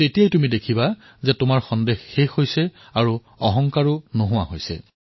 তেতিয়া আপুনি দেখিব যে আপোনাৰ সন্দেহৰ ডাৱৰ আঁতৰি গৈছে আৰু অহংকাৰ সমাপ্ত হৈ গৈছে